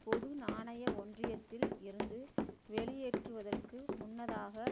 பொது நாணய ஒன்றியத்தில் இருந்து வெளியேற்றுவதற்கு முன்னதாக